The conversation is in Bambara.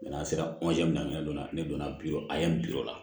n'an sera daminɛ don na ne donna bi o a y'an bi o la